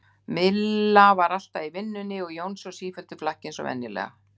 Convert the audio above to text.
Milla var alltaf í vinnunni og Jónsi á sífelldu flakki eins og venjulega.